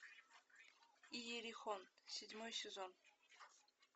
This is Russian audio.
иерихон седьмой сезон